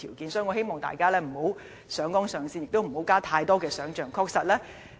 因此，我希望大家不要上綱上線，也不要加入太多想象。